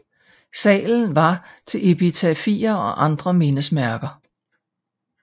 Salen var til epitafier og andre mindesmærker